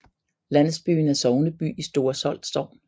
Landsbyen er sogneby i Store Solt Sogn